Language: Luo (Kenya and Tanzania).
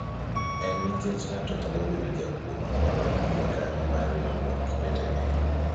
en nikech ng'ato nyalo bedo jakuo makwalo jokanyo mar riwruok wetene